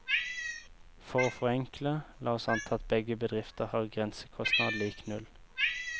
For å forenkle, la oss anta at begge bedrifter har grensekostnad lik null.